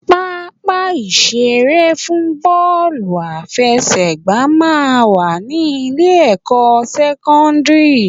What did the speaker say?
Pápá ìṣeré fún bọ́ọ̀lù àfẹsẹ̀gbà máa ń wà ní Ilé-ẹ̀kọ́ sẹ́kọ́ńdìrì